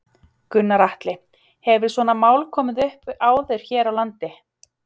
Gunnar Atli: Hefur svona mál komið upp áður hér á landi?